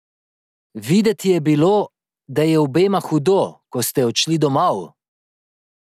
Videti je bilo, da je obema hudo, ko ste odšli domov?